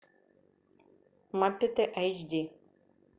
маппеты эйч ди